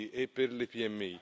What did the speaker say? piccoli e per le PMI.